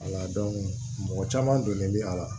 mɔgɔ caman donnen bɛ a la